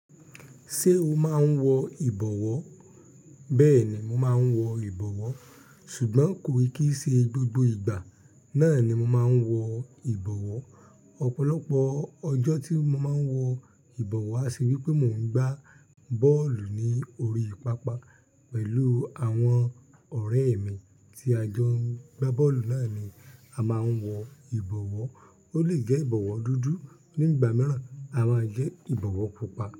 Ṣé o máa ń wọ ìbọ̀wọ́? Bẹ́ẹ̀ ni, mo máa ń wọ ìbọ̀wọ́ ṣùgbọ́n kò í kí í ṣe gbogbo ìgbà náà ni mo máa ń wọ ìbọ̀wọ́. Ọ̀pọ̀lọpọ̀ ọjọ́ tí mo máa ń wọ ìbọ̀wọ́ aṣe wípé mò ń gbá bọ́ọ̀lù ní orí pápá pẹ̀lú àwọn ọ̀rẹ́ mi tí a jọ ń gbá bọ́ọ̀lù náà ni a máa ń wọ ìbọ̀wọ́. Ó lè gẹ ìbọ̀wọ́ dúdú, nígbà mìíràn a máa gẹ ìbọ̀wọ́ pupa.